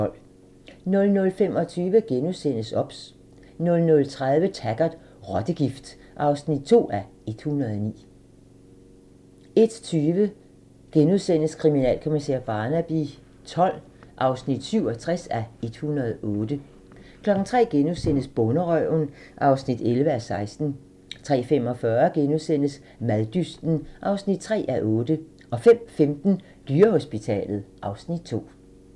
00:25: OBS * 00:30: Taggart: Rottegift (2:109) 01:20: Kriminalkommissær Barnaby XII (67:108)* 03:00: Bonderøven (11:16)* 03:45: Maddysten (3:8)* 05:15: Dyrehospitalet (Afs. 2)